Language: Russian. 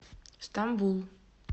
стамбул